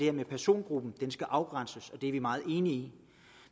at persongruppen skal afgrænses og det er vi meget enige i